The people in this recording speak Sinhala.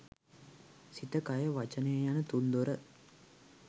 සිත, කය, වචනය යන තුන්දොර